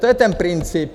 To je ten princip.